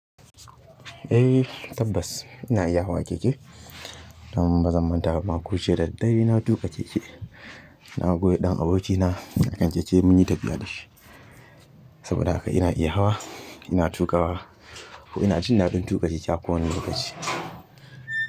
Eh tabbas ina iya hawa keke. Dan bazan manta bah koh jiya da daddare na tuƙa keke na goya ɗan abokina a kan keke mun yi tafiya da shi saboda haka ina iya hawa, ina tuƙa wa ko ina jin daɗin tuƙa keke a kowane lokaci.